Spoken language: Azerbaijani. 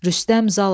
Rüstəm Zalam.